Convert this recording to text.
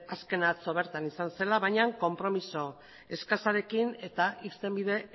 azkena atzo bertan izan zela bainan konpromiso eskasarekin eta irtenbide